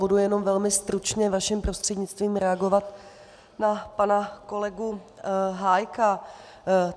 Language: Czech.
Budu jenom velmi stručně vaším prostřednictvím reagovat na pana kolegu Hájka.